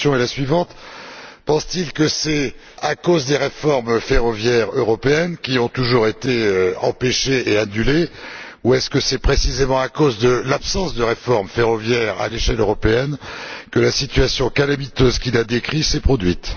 Ma question est la suivante pense t il que c'est à cause des réformes ferroviaires européennes, qui ont toujours été empêchées et annulées, ou que c'est précisément à cause de l'absence de réformes ferroviaires à l'échelle européenne que la situation calamiteuse qu'il a décrite s'est produite?